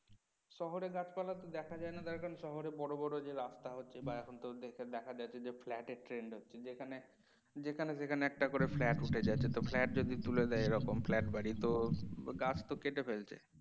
শহরে গাছপালা তো দেখাই যায় না তার কারণ শহরে বড় বড় যে রাস্তা হচ্ছে বা এখন যে দেখা যাচ্ছে flat এর trend হচ্ছে যেখানে যেখানে সেখানে একটা করে flat উঠে যাচ্ছে তো flat যদি তুলে দেয় flat বাড়ি তো গাছ তো কেটে ফেলছে